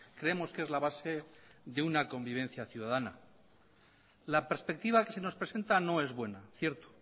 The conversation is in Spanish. creemos que es la base de una convivencia ciudadana la perspectiva que se nos presenta no es buena cierto